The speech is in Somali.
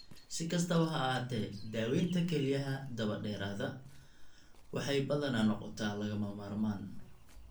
Si kastaba ha ahaatee, daaweynta kelyaha daba-dheeraada waxay badanaa noqotaa lagama maarmaan.